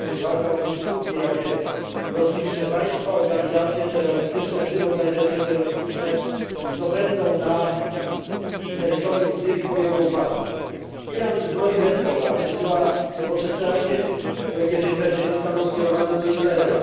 To jest walka o przyczółki, jakie rozliczne państwa, organizacje, w tym organizacje terrorystyczne, zdobędą na terytorium Syrii po jego upadku. Iran zbroi Hezbollah, wysyła nowoczesne rakiety, które kiedyś pewnie zostaną skierowane do Izraela.